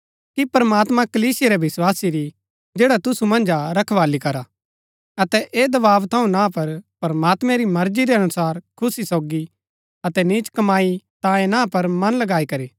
कि प्रमात्मां कलीसिया रै विस्वासी री जैडा तुसु मन्ज हा रखवाली करा अतै ऐह दबाव थऊँ ना पर प्रमात्मैं री मर्जी रै अनुसार खुशी सोगी अतै नीच कमाई तांयें ना पर मन लगाई करी